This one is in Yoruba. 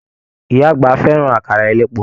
Ìyá àgbà fẹràn àkàrà elépo.